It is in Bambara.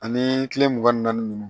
Ani kile mugan ni naani ninnu